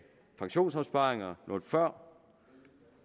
pensionsopsparinger noget før